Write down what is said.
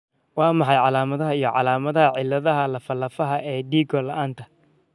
Waa maxay calaamadaha iyo calaamadaha cilladaha lafaha lafaha ee dhego-la'aanta?